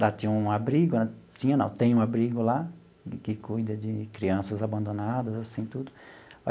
Lá tinha um abrigo, tinha não, tem um abrigo lá, que cuida de crianças abandonadas, assim tudo.